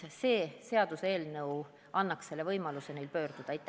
See seaduseelnõu annaks neile võimaluse ise arsti poole pöörduda.